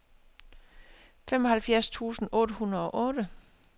femoghalvfjerds tusind otte hundrede og otte